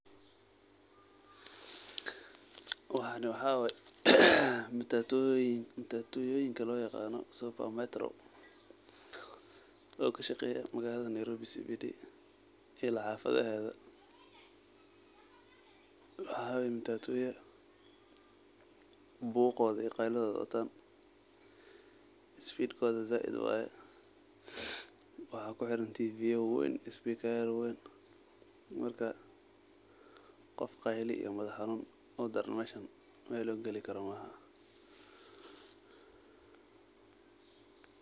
Waxani waxa waye matatuyoyinka loyaqano super metro oo kashaqeyo magalada Nairobi CBD ila xafadaheda, waxa waye matatuya buqo iyo qeylidoda watov sbeedkoda zaid waye, waxa kuxiran tiviya wawen iyo sbika waween marka qof qeylo iyo madax xanun udaran meeshan meel uu gali karo maahan.